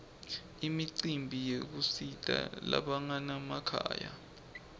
imicimbi yekusita labanganamakhaya